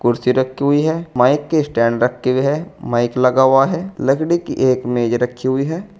कुर्सी रखी हुई है माइक के स्टैंड रखे हुए हैं माइक लगा हुआ है लकड़ी की एक मेज रखी हुई है।